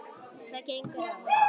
Hvað gengur á!